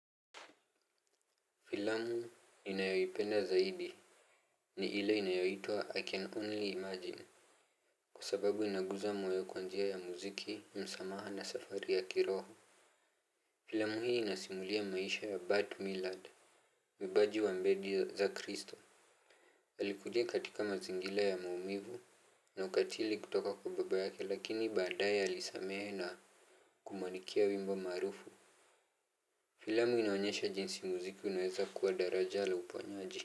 Filamu ninayoipenda zaidi ni ile inayoyitwa I can only imagine. Kwa sababu inaguza moyo kwa njia ya muziki, msamaha na safari ya kiroho. Filamu hii inasimulia maisha ya Bart Millard, mbaji wa mbedi za kristo. Alikuja katika mazingila ya maumivu na ukatili kutoka kwa baba yake lakini badae alisamehe na kumuandikia wimbo marufu. Filamu inaonyesha jinsi muziki unaeza kua daraja la uponyaji.